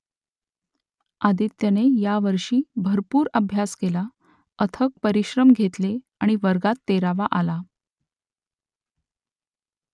आदित्यने यावर्षी भरपूर अभ्यास केला अथक परिश्रम घेतले आणि वर्गात तेरावा आला